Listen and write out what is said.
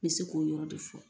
N be se k'o de fɔ.